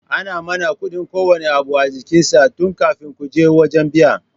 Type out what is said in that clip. Ana manna kudin kowanne abu a jikin sa tun kafin kaje wajan biya